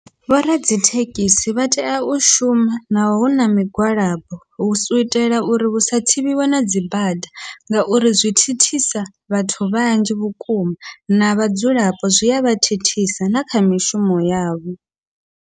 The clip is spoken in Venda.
Vho radzithekhisi vha tea u shuma na huna migwalabo u itela uri husa thivhiwe na dzibada, ngauri zwi thithisa vhathu vhanzhi vhukuma na vhadzulapo zwi avha thithisa na kha mishumo yavho.